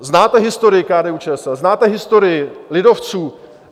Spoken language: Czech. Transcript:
Znáte historii KDU-ČSL, znáte historii lidovců?